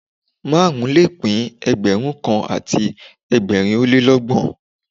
Márùn-ún le pín Ẹgbẹ̀rún kan àti ẹgbẹ̀rin ó lé ní ọgbọ̀n